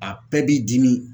A bɛɛ b'i dimi